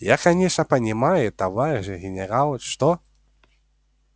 я конечно понимаю товарищ генерал что